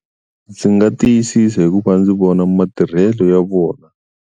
Ndzi nga tiyisisa hi ku va ndzi vona matirhelo ya vona.